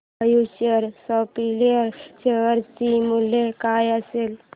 future supply share चे मूल्य काय असेल